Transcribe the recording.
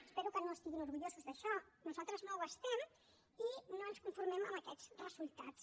espero que no estiguin orgullosos d’això nosaltres no ho estem i no ens conformem amb aquests resultats